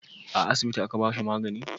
a asibiti a ka bashi magani?